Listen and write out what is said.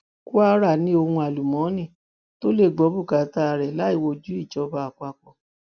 kwara ni ohun àlùmọọnì tó lè gbọ bùkátà rẹ láì wojú ìjọba àpapọ